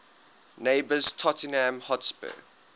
neighbours tottenham hotspur